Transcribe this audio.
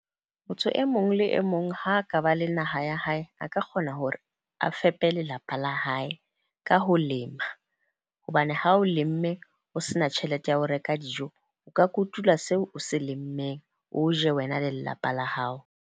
Motho e mong le e mong ha ka ba le naha ya hae, a ka kgona hore a fepe lelapa la hae ka ho lema. Hobane ha o lemme o se na tjhelete ya ho reka dijo, o ka kotula seo o se lemmeng, o je wena le lelapa la hao.